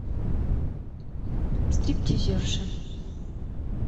стриптизерша